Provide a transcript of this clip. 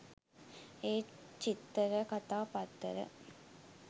ඒත් චිත්තරකතා පත්තර